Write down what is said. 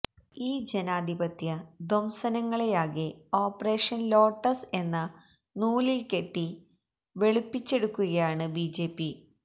ഈ ജനാധിപത്യ ധ്വംസനങ്ങളെയാകെ ഓപ്പറേഷന് ലോട്ടസ് എന്ന നൂലില്കെട്ടി വെളുപ്പിച്ചെടുക്കുകയാണ് ബിജെപി